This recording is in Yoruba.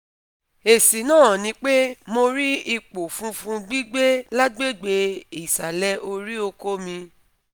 Esi na nipe mo ri ipo funfun gbigbe lagbegbe isale ori oko mi